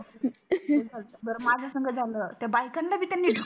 बर माझ्या संग झाल त्या बायकाणा पण त्यांनी ढकल